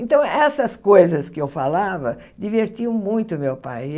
Então, essas coisas que eu falava divertiam muito o meu pai.